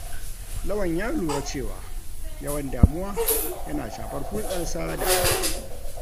Lawan ya lura cewa yawan damuwa yana shafar hulɗarsa da abokai.